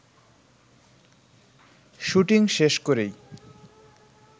shooting শেষ করেই